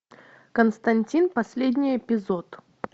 константин последний эпизод